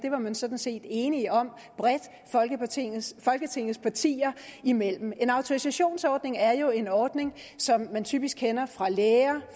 sådan set enige om bredt folketingets folketingets partier imellem en autorisationsordning er jo en ordning som vi typisk kender fra læger